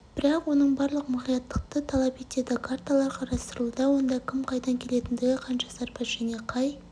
бірақ оның барлығы мұқияттықты талап етеді карталар қарастырылуда онда кім қайдан келетіндігі қанша сарбаз және қай